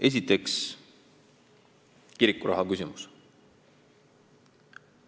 Esiteks, nn kirikuraha küsimus.